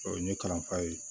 O ye n ye kalanfa ye